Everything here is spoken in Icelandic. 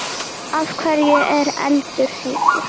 Af hverju er eldur heitur?